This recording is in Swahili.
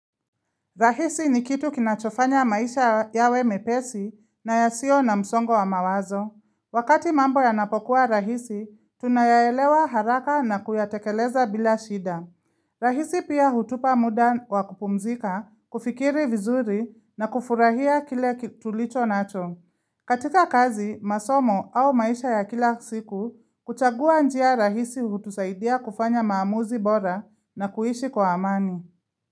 Rahisi ni kitu kinachofanya maisha yawe mepesi na yasiyo na msongo wa mawazo. Wakati mambo yanapokuwa rahisi, tunayaelewa haraka na kuyatekeleza bila shida. Rahisi pia hutupa muda wa kupumzika, kufikiri vizuri na kufurahia kile tulicho nacho. Katika kazi, masomo au maisha ya kila siku, kuchagua njia rahisi hutusaidia kufanya maamuzi bora na kuishi kwa amani.